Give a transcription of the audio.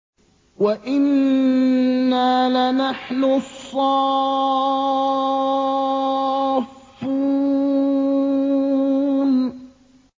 وَإِنَّا لَنَحْنُ الصَّافُّونَ